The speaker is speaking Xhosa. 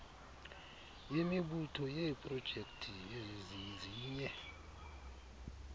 yemibutho yeeprojekthi ezizizinye